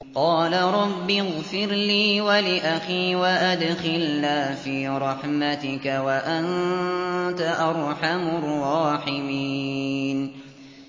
قَالَ رَبِّ اغْفِرْ لِي وَلِأَخِي وَأَدْخِلْنَا فِي رَحْمَتِكَ ۖ وَأَنتَ أَرْحَمُ الرَّاحِمِينَ